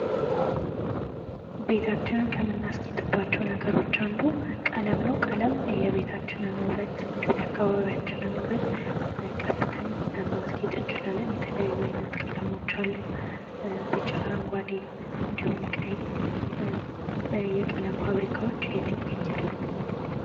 ቤታችንን ከምናስጌጥባቸው ነገሮች አንዱ ቀለም ነው። ቀለም የቤታችንን ውበት እንዲሁም የአካባቢያችንን ውበት ቀብተን አስጌጥ አንቺላን እንዲሁም የተለያዩ አይነት ቀለሞች አሉ ቢጫ፥ አረንጓዴ፥ እንዲሁም ቀይ አሉ። የቀለም ፋብሪካዎች የት ይገኛሉ?